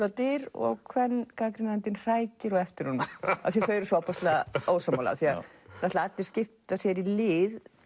á dyr og kvengagnrýnandinn hrækir á eftir honum af því þau eru svo ofboðslega ósammála allir skipta sér í lið